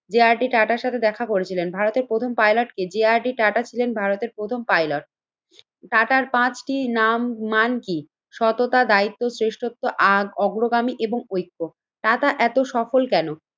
যে R D টাটার সাথে দেখা করেছিলেন। ভারতের প্রথম পাইলট কে? যে আর ডি টাটা ছিলেন ভারতের প্রথম পাইলট। টাটার পাঁচটি নাম মান কি? সততা, দায়িত্ব, শ্রেষ্ঠত্ব, আর অগ্রগামী এবং ঐক্য। টাটা এতো সফল কেন?